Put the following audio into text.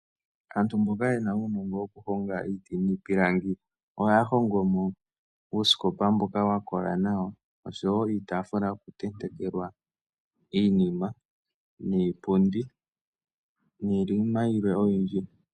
AANTU MBOKA YE NA UUNONGO WOKU HONGA IITI NIIPILANGI OHA YA HONGOMO UUSIKOPA MBOKA WAKOLA NAWA OSHO WOO IITAAFULA YOKU TENTEKELWA IINIMA, NIIPUNDI, NIINIMA YILWE OYINDJI.